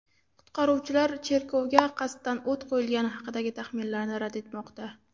Qutqaruvchilar cherkovga qasddan o‘t qo‘yilgani haqidagi taxminlarni rad etmoqda.